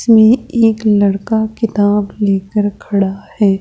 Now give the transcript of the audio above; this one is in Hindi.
इसमें एक लड़का किताब लेकर खड़ा है।